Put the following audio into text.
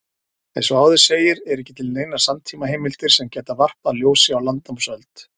Eins og áður segir eru ekki til neinar samtímaheimildir sem geta varpað ljósi á landnámsöld.